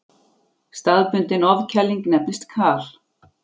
Staðbundin ofkæling nefnist kal.